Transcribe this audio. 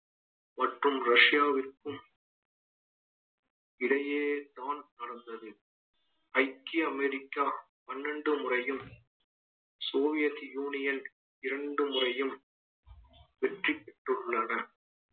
மற்றும் ரஷ்யாவிற்கும் இடையேதான் நடந்தது ஐக்கிய அமெரிக்கா பன்னெண்டு முறையும் சோவியத் soviet union இரண்டு முறையும் வெற்றி பெற்றுள்ளனர்